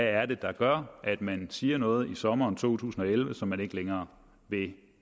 er der gør at man siger noget i sommeren to tusind og elleve som man ikke længere